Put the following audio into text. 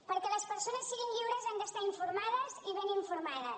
perquè les persones siguin lliures han d’estar informades i ben informades